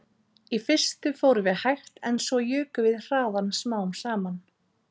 Í fyrstu fórum við hægt en svo jukum við hraðann smám saman